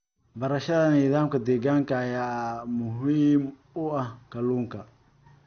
Barashada nidaamka deegaanka ayaa muhiim u ah kalluunka.